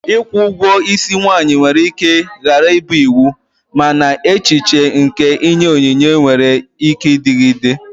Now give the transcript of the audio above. Ikwu ugwo isi nwanyi nwere ike ghara ịbụ iwu, mana echiche nke inye onyinye nwere ike ịdịgide.